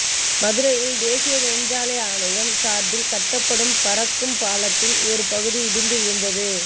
மதுரையில் தேசிய நெடுஞ்சாலை ஆணையம் சார்பில் கட்டப்படும் பறக்கும் பாலத்தின் ஒரு பகுதி இடிந்து விழுந்தது